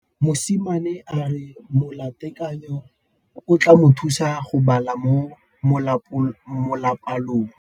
Mosimane a re molatekanyô o tla mo thusa go bala mo molapalong.